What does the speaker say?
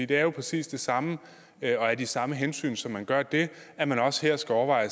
det er jo præcis det samme og af de samme hensyn som man gør det at man også her skulle overveje